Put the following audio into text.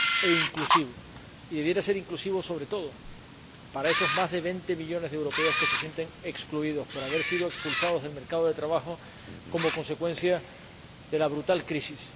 e inclusivo. Y debería ser inclusivo sobre todo para esos más de 20 millones de europeos que se sienten excluidos por haber sido expulsados del mercado de trabajo, como consecuencia de la brutal crisis.